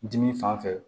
Dimi fan fɛ